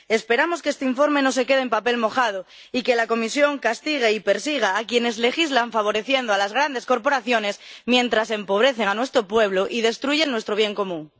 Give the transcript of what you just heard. Esperamos que este informe no se quede en papel mojado y que la Comisión castigue y persiga a quienes legislan favoreciendo a las grandes corporaciones mientras empobrecen a nuestro pueblo y destruyen nuestro bien común.